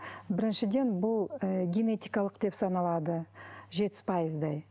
біріншіден бұл ы генетикалық деп саналады жетпіс пайыздай